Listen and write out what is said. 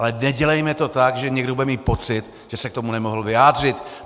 Ale nedělejme to tak, že někdo bude mít pocit, že se k tomu nemohl vyjádřit.